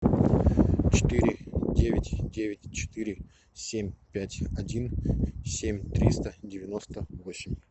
четыре девять девять четыре семь пять один семь триста девяносто восемь